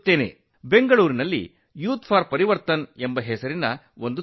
ಬೆಂಗಳೂರಿನಲ್ಲಿ youth for Parivartan ಎಂಬ ಒಂದು ತಂಡವಿದೆ